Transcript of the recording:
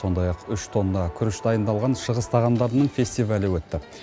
сондай ақ үш тонна күріш дайындалған шығыс тағамдарының фестивалі өтті